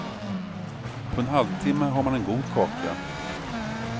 På en halvtimma har man en god kaka.